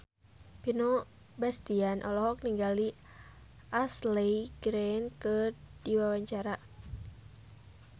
Vino Bastian olohok ningali Ashley Greene keur diwawancara